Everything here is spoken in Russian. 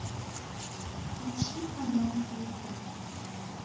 включи канал звезда